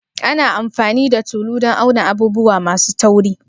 Ana amfani da tulu dan auna abubuwa masu tauri?